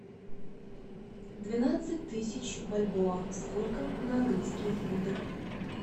двенадцать тысяч бальбоа сколько на английские фунты